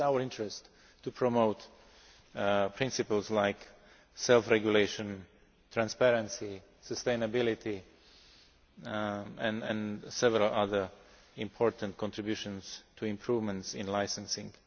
It is in our interest to promote principles such as self regulation, transparency and sustainability, and we can make several other important contributions to improvements in licensing.